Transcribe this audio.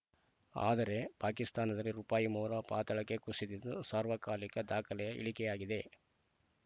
ಆದರೆ ಪಾಕಿಸ್ತಾನದಲ್ಲಿ ರುಪಾಯಿ ಮೌಲ ಪಾತಾಳಕ್ಕೆ ಕುಸಿದಿದ್ದು ಸಾರ್ವಕಾಲಿಕ ದಾಖಲೆಯ ಇಳಿಕೆಯಾಗಿದೆ